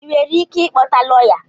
Ị nwere ike ịkpọta lọya?